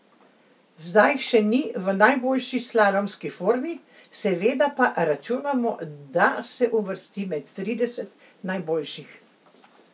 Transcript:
Zdaj še ni v najboljši slalomski formi, seveda pa računamo, da se uvrsti med trideset najboljših.